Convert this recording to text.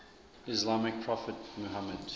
islamic prophet muhammad